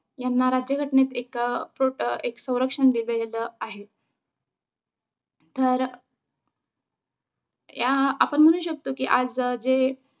ह्यांना राज्य घटनेत एक अं प्रोट अं एक संरक्षण दिलेलं आहे. तर या आपण म्हणू शकतो कि आज जे